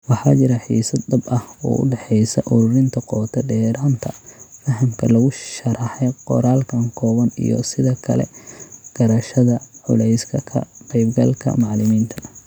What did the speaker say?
Waxa jira xiisad dhab ah oo u dhaxaysa ururinta qoto-dheeraanta fahamka lagu sharraxay qoraalkan kooban iyo sidoo kale garashada culayska ka-qaybgalka macallimiinta.